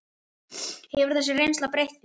Hefur þessi reynsla breytt þér?